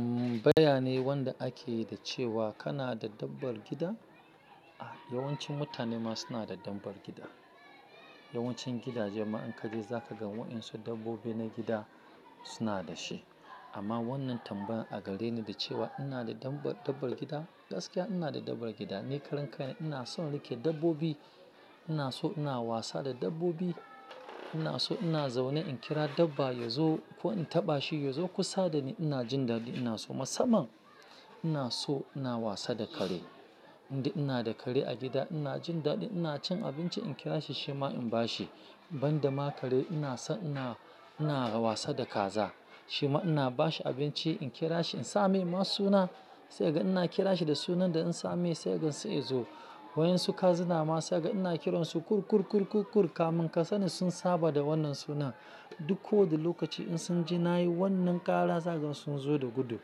Umm, baya ne wanda ake yi da cewa kana da dabbar gida? Ah, yawancin mutane ma suna da dabbar gida. Yawancin gidaje ma in ka je za ka ga waɗansu dabbobi na gida suna da shi. Amma wannan tambayar a gare ni da cewa ina da dabbar, dabbar gida, gaskiya ina da dabbar gida. Ni karen karen ina son rike dabbobi, ina so ina wasa da dabbobi, ina so ina zaune in kira dabba ya zo ko in taɓa shi ya zo kusa da ni. Ina jin dadi, ina so musamman ina so ina wasa da kare. Indai ina da kare a gida ina jin dadi, ina cin abinci in kira shi shi ma in bashi. Ban da ma kare ina so ina, ina wasa da kaza. Shi ma ina bashi abinci, in kira shi, in sa mai ma suna sai ga ina kira shi da sunan da in sa mai sai ga sai ya zo. Waɗansu kazuna ma sai ga ina kiran su kur kur kur kur kur kamun ka sani sun saba da wannan sunan. Duk ko da lokaci in sun ji na yi wannan kara zai gan sun zo da gudu.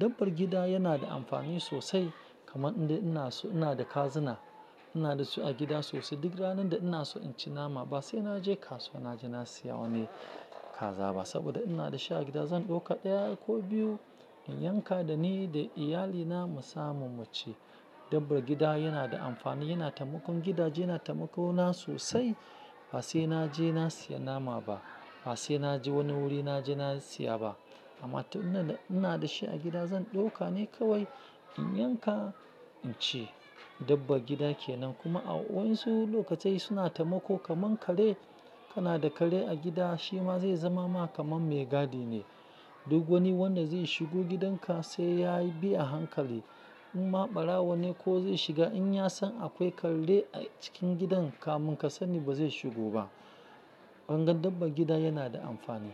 Dabbar gida yana da amfani sosai kamar inda ina so ina da kazuna. Ina da su a gida sosai. Duk ranar da ina so in ci nama ba sai na je kasuwa na je na siya wani kaza ba saboda ina da shi a gida. Zan ɗauka ɗaya ko biyu in yanka da ni da iyalina mu samu mu ci. Dabbar gida yana da amfani, yana taimakon gidaje, yana taimako na sosai. Ba sai na je na siya nama ba, ba sai na je wani wuri na je na siya ba. Amma ta ina da, ina da shi a gida zan ɗauka ne kawai in yanka in ci. Dabba gida ke nan kuma a waɗansu lokatai suna taimako kamar kare. Kana da kare a gida shi ma zai zama ma kamar mai gadi ne. Duk wani wanda zai shigo gidanka sai ya bi a hankali. In ma ɓarawo ne ko zai shiga in ya san akwai kare a cikin gidan kamun ka sani ba zai shigo ba. Dabbar gida yana da amfani.